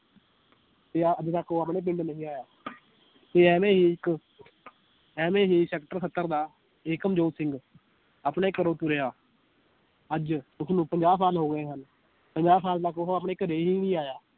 ਤੇ ਆਹ ਅੱਜ ਤੱਕ ਉਹ ਆਪਣੇ ਪਿੰਡ ਨਹੀਂ ਆਇਆ ਤੇ ਐਵੇਂ ਹੀ ਇਕ ਐਵੇਂ ਹੀ sector ਸੱਤਰ ਦਾ ਏਕਮ ਜੋਤ ਸਿੰਘ ਆਪਣੇ ਘਰੋਂ ਤੁਰਿਆ ਅੱਜ ਉਸਨੂੰ ਪੰਜਾਹ ਸਾਲ ਹੋ ਗਏ ਹਨ ਪੰਜਾਹ ਸਾਲ ਤਕ ਉਹ ਆਪਣੇ ਘਰੇ ਹੀ ਨੀ ਆਇਆ